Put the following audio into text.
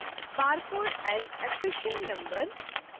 barcode as accession number